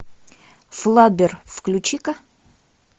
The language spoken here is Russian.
флаббер включи ка